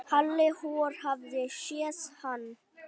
Halli hor hafði séð hann.